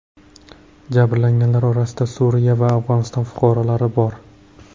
Jabrlanganlar orasida Suriya va Afg‘oniston fuqarolari bor.